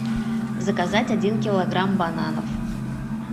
заказать один килограмм бананов